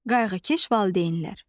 Qayğıkeş valideynlər.